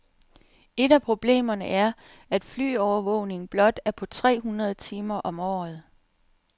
Et af problemerne er, at flyovervågningen blot er på tre hundrede timer om året.